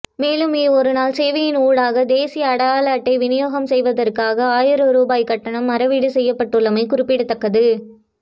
மேலும்இ ஒருநாள் சேவையின் ஊடாக தேசிய அடையாள அட்டை விநியோகம் செய்வதற்காக ஆயிரம் ரூபா கட்டணம் அறவீடு செய்யப்பட்டுள்ளமை குறிப்பிடத்தக்கது